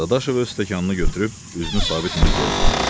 Dadaşov öz stəkanını götürüb üzünü Sabit Mirzəyə tutdu.